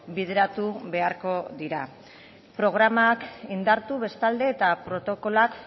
bideratu beharko dira programak indartu bestalde eta protokoloak